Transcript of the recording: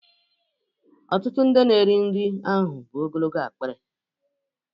Ọtụtụ ndị na-eri nri riri ahụ bụ ogologo akpịrị